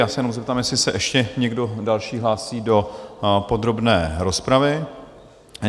Já se jenom zeptám, jestli se ještě někdo další hlásí do podrobné rozpravy?